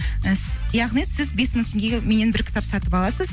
яғни сіз бес мың теңгеге меннен бір кітап сатып аласыз